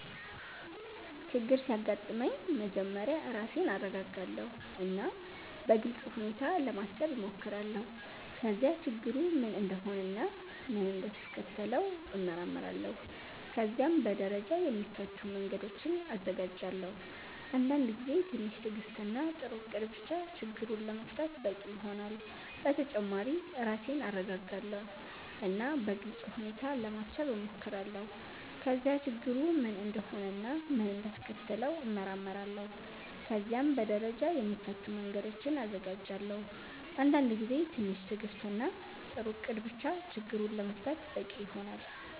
ችግር ሲያጋጥመኝ መጀመሪያ ራሴን እረጋጋለሁ እና በግልጽ ሁኔታ ለማሰብ እሞክራለሁ። ከዚያ ችግሩ ምን እንደሆነ እና ምን እንዳስከተለው እመረምራለሁ። ከዚያም በደረጃ የሚፈቱ መንገዶችን እዘጋጃለሁ። አንዳንድ ጊዜ ትንሽ ትዕግስት እና ጥሩ እቅድ ብቻ ችግሩን ለመፍታት በቂ ይሆናል። በተጨማሪ ራሴን እረጋጋለሁ እና በግልጽ ሁኔታ ለማሰብ እሞክራለሁ። ከዚያ ችግሩ ምን እንደሆነ እና ምን እንዳስከተለው እመረምራለሁ። ከዚያም በደረጃ የሚፈቱ መንገዶችን እዘጋጃለሁ። አንዳንድ ጊዜ ትንሽ ትዕግስት እና ጥሩ እቅድ ብቻ ችግሩን ለመፍታት በቂ ይሆናል።